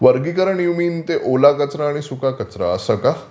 वर्गीकरण you mean ते ओला कचरा आणि सुका कचरा असं का?